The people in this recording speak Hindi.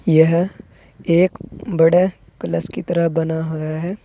यह एक बड़े कलस की तरह बना हुआ है।